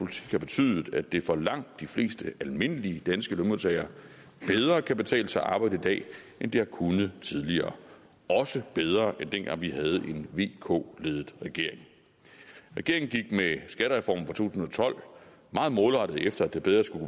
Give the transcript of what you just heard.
har betydet at det for langt de fleste almindelige danske lønmodtagere bedre kan betale sig at arbejde i dag end det har kunnet tidligere også bedre end dengang vi havde en vk ledet regering regeringen gik med skattereformen tusind og tolv meget målrettet efter at det bedre skulle